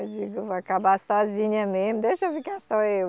Eu digo, vou acabar sozinha mesmo, deixa eu ficar só eu.